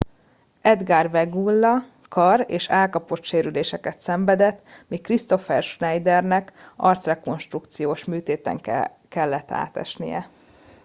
edgar veguilla kar és állkapocssérüléseket szenvedett míg kristoffer schneidernek arcrekonstrukciós műtéten ellett átesnie